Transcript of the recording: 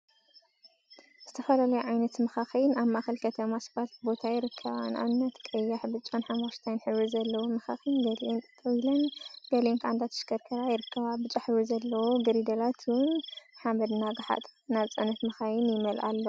ዝተፈላለያ ዓይነት መካኪን አብ ማእከል ከተማ ስፓልት ቦታ ይርከባ፡፡ ንአብነት ቀያሕ፣ ብጫን ሓመኩሽታይን ሕብሪ ዘለወን መካኪን ገሊአን ጠጠው ኢለን ገሊአን ከዓ እንዳተሽከርከራ ይርከባ፡፡ ብጫ ሕብሪ ዘለዎን ግሪደላት እውን ሓመድ እናገሓጣ ናብ ናይ ጽዕነት መካይን ይመልአ አለዋ፡፡